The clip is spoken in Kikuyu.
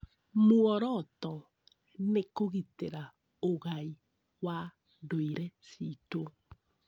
Muoroto nĩ kũgitĩra ũgai wa ndũire citũ.